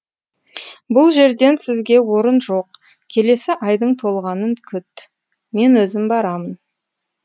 бұл жерден сізге орын жоқ келесі айдың толғанын күт мен өзім барамын